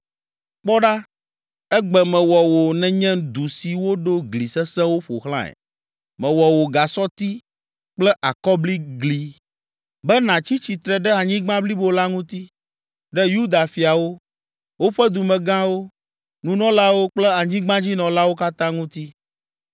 Kpɔ ɖa, egbe mewɔ wò nènye du si woɖo gli sesẽwo ƒo xlãe. Mewɔ wò gasɔti kple akɔbliglii, be nàtsi tsitre ɖe anyigba blibo la ŋuti, ɖe Yuda fiawo, woƒe dumegãwo, nunɔlawo kple anyigbadzinɔlawo katã ŋuti.